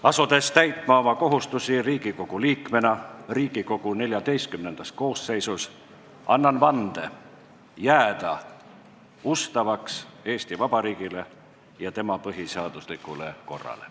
Asudes täitma oma kohustusi Riigikogu liikmena Riigikogu XIV koosseisus, annan vande jääda ustavaks Eesti Vabariigile ja tema põhiseaduslikule korrale.